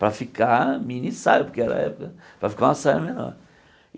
Para ficar mini-saia, porque era a época, para ficar uma saia menor.